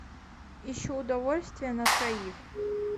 ищу удовольствие на троих